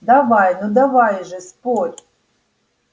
давай ну давай же спорь